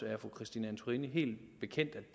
er fru christine antorini helt bekendt at